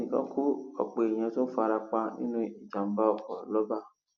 ẹnì kan kú ọpọ èèyàn tún fara pa nínú ìjàmbá ọkọ lọba